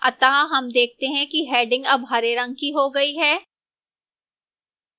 अतः हम देखते हैं कि डैडिंग अब हरे रंग की हो गई है